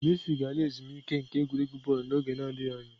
Messi ga-ala ezumike nka n'egwuregwu bọọlụ n'oge adịghị anya.